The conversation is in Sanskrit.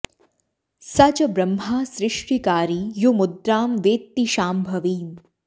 स च ब्रह्मा सृष्टिकारी यो मुद्रां वेत्ति शाम्भवीम्